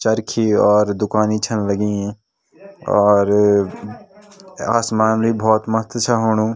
चरखी और दुकानी छन लगीं और आसमान ले भोत मस्त छा हुणु।